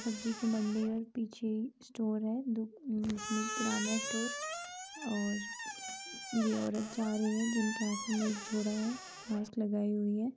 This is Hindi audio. सब्जी की मंडी और पीछे स्टोर है। जिसमें किराना स्टोर और ये औरत जा रही है जिनके हाथ में एक झोरा है। मास्क लगाई हुई है।